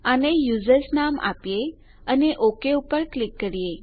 આને યુઝર્સ નામ આપીએ અને ઓક પર ક્લિક કરીએ